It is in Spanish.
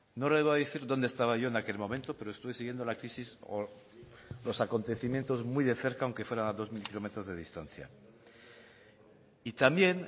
no le voy a decir donde estaba yo en aquel momento pero estuve siguiendo la crisis o los acontecimientos muy de cerca aunque fuera a dos mil km de distancia y también